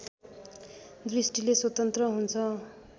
दृष्टिले स्वतन्त्र हुन्छ